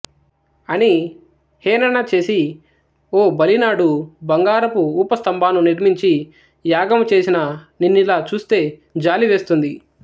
అని హేణన చేసి ఓ బలీ నాడు బంగారపు ఊపస్థంభాను నిర్మించి యాగము చేసిన నిన్నిలాచూస్తే జాలి వేస్తుంది